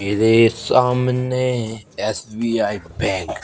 मेरे सामने SBI bank --